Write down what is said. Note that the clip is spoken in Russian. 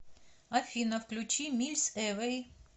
афина включи мильс эвэй